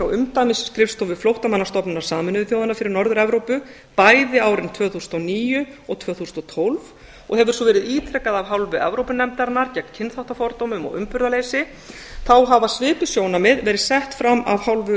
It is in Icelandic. umdæmisskrifstofu flóttamannastofnunar sameinuðu þjóðanna fyrir norður evrópu bæði árin tvö þúsund og níu og tvö þúsund og tólf og hefur svo verið ítrekað af hálfu evrópunefndarinnar gegn kynþáttafordómum og umburðarleysi þá hafa svipuð sjónarmið verið sett fram af hálfu